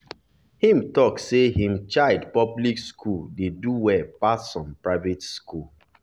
him talk say him child public school dey do well pass some private school